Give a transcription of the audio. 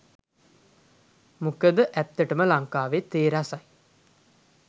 මොකද ඇත්තටම ලංකාවේ තේ රසයි